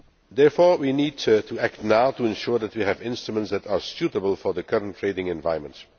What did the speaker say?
Therefore, we need to act now to ensure that we have instruments that are suitable for the current trading environment.